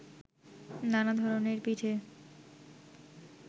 নানা ধরনের পিঠে